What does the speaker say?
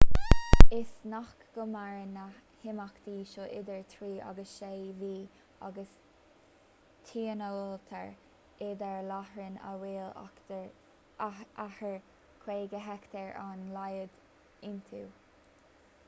is gnách go maireann na himeachtaí seo idir trí agus sé mhí agus tionóltar iad ar láithreáin a bhfuil achar 50 heicteár ar a laghad iontu